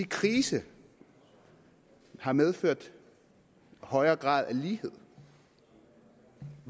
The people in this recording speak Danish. krise har medført en højere grad af lighed